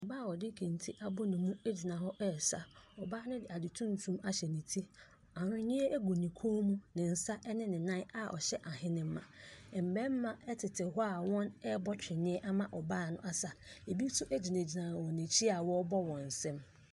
Ↄbaa a ɔde kente abɔ ne mu gyina hɔ resa. Ↄbaa no de ade tuntum ahyɛ ne ti. Ahweneɛ gu ne kɔn mu. ne nsa ne ne nnan a ɔhyɛ ahenemma. Mmarima tete hɔ a wɔrebɔ twene ama ɔbaa no asa. Ebi nso gyinagyina n’akyi a wɔrebɔ wɔn nsam.